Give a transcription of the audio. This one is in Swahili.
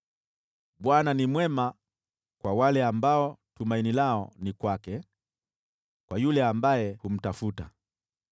Bwana ni mwema kwa wale ambao tumaini lao ni kwake, kwa yule ambaye humtafuta;